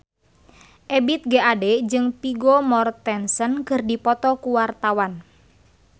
Ebith G. Ade jeung Vigo Mortensen keur dipoto ku wartawan